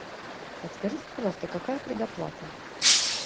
подскажите пожалуйста какая предоплата